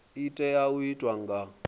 i tea u itwa nga